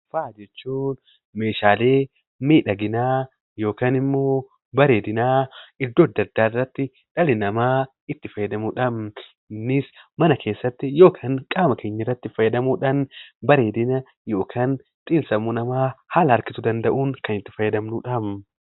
Faaya jechuun meeshaalee miidhaginaa yookiin immoo bareedinaa iddoo addaa addaa irratti dhalli namaa itti fayyadamuudha. Innis mana keessatti yookiin immoo qaamaa keenya irratti fayyadamuudhaan bareedina yookiin immoo xiin-sammuu namaa haala harkisuu danda'uun kan itti fayyadamnuudha.